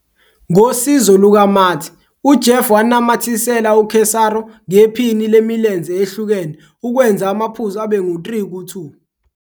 Ngosizo lukaMatt, uJeff wanamathisela uCesaro ngephini lemilenze ehlukene ukwenza amaphuzu abe ngu-3-2.